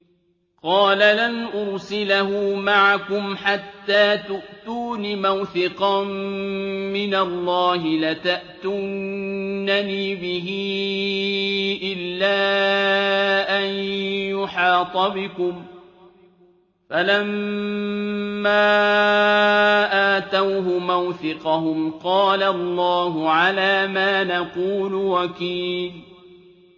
قَالَ لَنْ أُرْسِلَهُ مَعَكُمْ حَتَّىٰ تُؤْتُونِ مَوْثِقًا مِّنَ اللَّهِ لَتَأْتُنَّنِي بِهِ إِلَّا أَن يُحَاطَ بِكُمْ ۖ فَلَمَّا آتَوْهُ مَوْثِقَهُمْ قَالَ اللَّهُ عَلَىٰ مَا نَقُولُ وَكِيلٌ